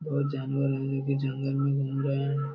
बहुत जानवर है। ये भी जंगल में घूम रहे हैं।